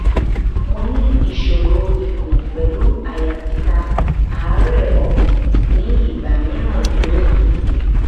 mo ní ìṣòro ikun pelu aya tita àárè ọkàn ni igba miran lòru